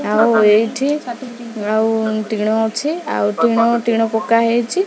ଆଉ ଏଇଠି ଆଉ ଟିଣ ଅଛି। ଆଉ ଟିଣ ଟିଣ ପକା ହେଇଚି।